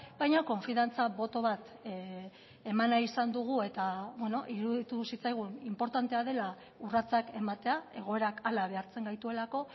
baina konfiantza boto bat eman nahi izan dugu eta iruditu zitzaigun inportantea dela urratsak ematea egoerak hala behartzen gaituelako